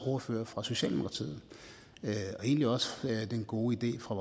ordføreren fra socialdemokratiet og egentlig også den gode idé fra